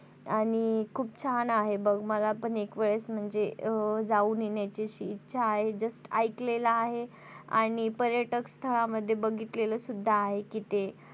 आणि खूप छान आहे बघ मला पण एकावेळेस म्हणजे जाऊन येण्याची इच्छा आहे just ऐकलेलं आहे आणि पर्यटक स्थळामध्ये बघिततेल सुद्धा आहे कि ते